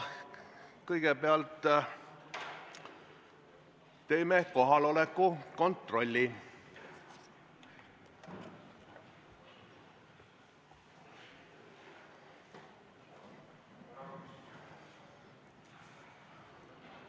Kõigepealt teeme kohaloleku kontrolli.